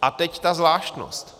A teď ta zvláštnost.